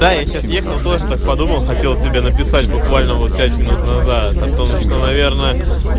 да я сейчас ехал тоже так подумал хотел тебе написать буквально вот пять минут назад о том что наверное